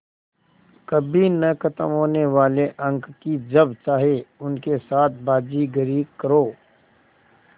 कभी न ख़त्म होने वाले अंक कि जब चाहे उनके साथ बाज़ीगरी करो